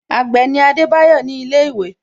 Agbe ni Adebayo ni ile iwe